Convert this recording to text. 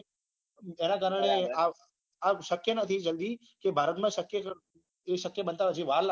તેના કારણે આ આ શક્ય નથી જલ્દી ભારત માં શક્ય બનતા હજી વાર લાગશે